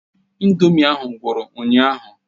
Ị̀ndómị́ ahụ gwụrụ ụnyaahụ.